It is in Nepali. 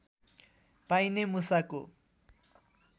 पाइने मुसाको